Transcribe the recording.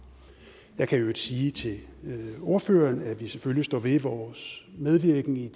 jeg kan i øvrigt sige til ordføreren at vi selvfølgelig står ved vores medvirken i